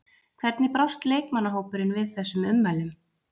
Hvernig brást leikmannahópurinn við þessum ummælum?